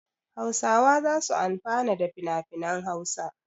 Hausawa za su amfana da finafinan Hausa.